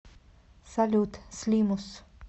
салют слимус